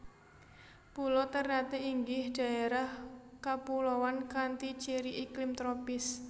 Pulo Ternate inggih dhaerah kapuloan kanthi ciri iklim tropis